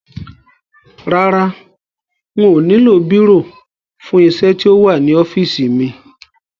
Rárá, n ò nílò bírò fún isẹ́ tí ó wà nínú ọ́fìsì mi